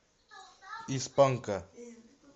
из панка